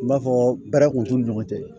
N b'a fɔ baara kun t'u ni ɲɔgɔn cɛ